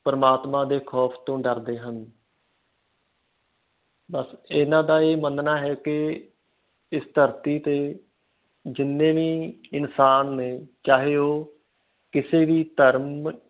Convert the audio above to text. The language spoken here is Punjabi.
ਪ੍ਰਮਾਤਮਾ ਦੇ ਖੌਫ ਤੋਂ ਡਰਦੇ ਹਨ ਬਸ ਇਹਨਾਂ ਦਾ ਇਹ ਮੰਨਣਾ ਹੈ ਕਿ ਇਸ ਧਰਤੀ ਤੇ ਜਿੰਨੇ ਵੀ ਇਨਸਾਨ ਨੇ ਚਾਹੇ ਉਹ ਕਿਸੇ ਵੀ ਧਰਮ